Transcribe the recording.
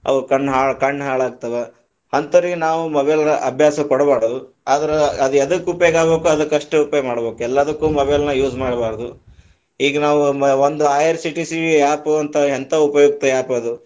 ಅವು ಕಣ್ಣ ಹಾಳ ಕಣ್ಣ ಹಾಳ ಆಗ್ತಾವ, ಹಂತೋರಿಗ ನಾವ mobile ಅಭ್ಯಾಸ ಕೊಡಬಾರದ, ಆದರ ಅದ ಎದಕ್ಕ ಉಪಯೋಗ ಅದಕ್ಕ ಅಷ್ಟ ಉಪಯೋಗ ಮಾಡಬೇಕ, ಎಲ್ಲಾದಕ್ಕೂ mobile ನ use ಮಾಡಬಾರದು, ಈಗ ನಾವು ಒಂದ IRCTC App ಅಂತ ಹೆಂತಾ ಉಪಯುಕ್ತ App ಅದು.